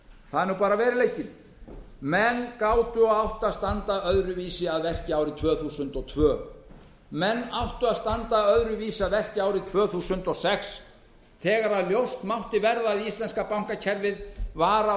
það er veruleikinn menn gátu átt að standa öðruvísi að verki árið tvö þúsund og tveir menn áttu að standa öðruvísi að verki árið tvö þúsund og sex þegar ljóst mátti verða að íslenska bankakerfið var að